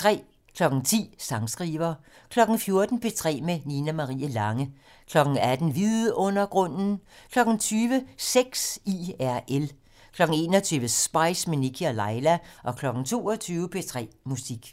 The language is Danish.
10:00: Sangskriver 14:00: P3 med Nina Marie Lange 18:00: Vidundergrunden 20:00: Sex IRL 21:00: Spice - med Nikkie og Laila 22:00: P3 Musik